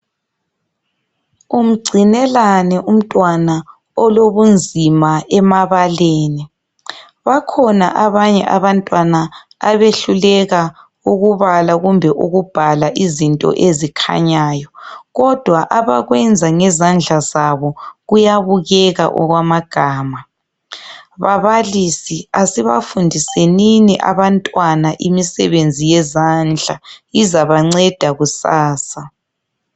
Umgcinelani umtwana olobunzima emabaleni. Bakhona abanye abantwana abehluleka ukubala kumbe ukubhala izinto ezikhanyayo. Kodwa abakwenza ngezandla zabo kuyabukeka okwama gama. Babalisi asiba fundisenini abantwana imisebenzi yezandla izabanceda kusasa.